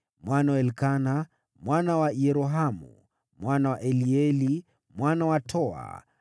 mwana wa Elikana, mwana wa Yerohamu, mwana wa Elieli, mwana wa Toa,